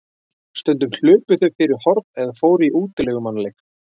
Stundum hlupu þau fyrir horn eða fóru í útilegumannaleik.